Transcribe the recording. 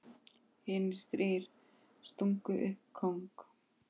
Hinir þrír stungu upp kóng.